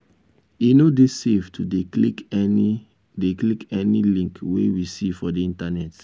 e no dey safe to dey click any dey click any link wey we see for di internet